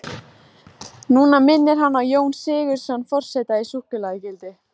Núna minnir hann á Jón Sigurðsson forseta í súkkulaðigildi.